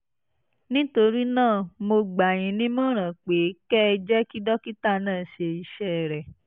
nítorí náà mo gbà yín nímọ̀ràn pé kẹ́ ẹ jẹ́ kí dókítà náà ṣe iṣẹ́ rẹ̀